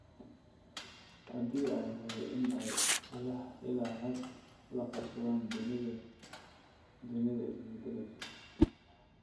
Haddii ay tahay in ay ilaa xad la qabsadaan dunida is bedbedelaysa.